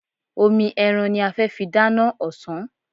Omi ẹran ní a fẹ́ fi dáná ọ̀sán.